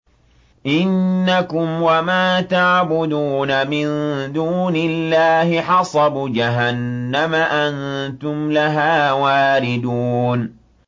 إِنَّكُمْ وَمَا تَعْبُدُونَ مِن دُونِ اللَّهِ حَصَبُ جَهَنَّمَ أَنتُمْ لَهَا وَارِدُونَ